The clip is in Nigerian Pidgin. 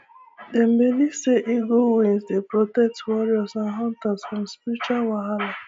dem believe say eagle wings dey protect warriors and hunters from spiritual wahalah